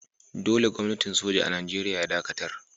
Dolle Gwamnatin soja a'Nijeriya ya dakatar.